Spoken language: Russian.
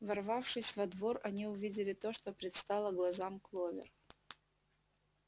ворвавшись во двор они увидели то что предстало глазам кловер